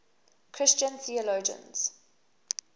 christian theologians